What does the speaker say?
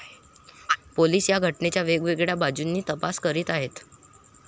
Police या घटनेचा वेगवेगळ्या बाजूंनी तपास करीत आहेत.